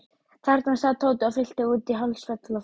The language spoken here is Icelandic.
Þarna sat Tóti og fyllti út í hálft svefnloftið.